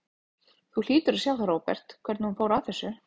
Þú hlýtur að sjá það, Róbert, hvernig hún fór að þessu.